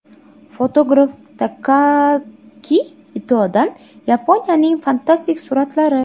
Fotograf Takaaki Itodan Yaponiyaning fantastik suratlari .